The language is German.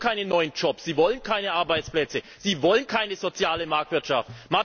Sie wollen keine neuen Jobs, Sie wollen keine neuen Arbeitsplätze, Sie wollen keine soziale Marktwirtschaft!